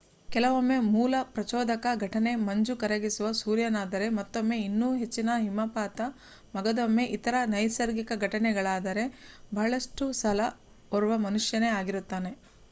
ಕೆಲವೊಮ್ಮೆ ಮೂಲ ಪ್ರಚೋದಕ ಘಟನೆ ಮಂಜು ಕರಗಿಸುವ ಸೂರ್ಯನಾದರೆ ಮತ್ತೊಮ್ಮೆ ಇನ್ನೂ ಹೆಚ್ಚಿನ ಹಿಮಪಾತ ಮಗದೊಮ್ಮೆ ಇತರ ನೈಸರ್ಗಿಕ ಘಟನೆಗಳಾದರೆ ಬಹಳಷ್ಟು ಸಲ ಓರ್ವ ಮನುಷ್ಯನೇ ಆಗಿರುತ್ತಾನೆ